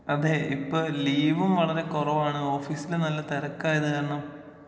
അതെ ഇപ്പോ ലീവും വളരെ കൊറവാണ് ഓഫീസില് നല്ല തെരക്കായത് കാരണം.